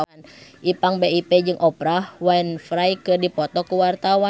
Ipank BIP jeung Oprah Winfrey keur dipoto ku wartawan